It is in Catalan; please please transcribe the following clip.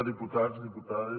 diputats diputades